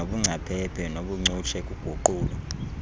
nobungcaphephe nobuncutshe kuguqulo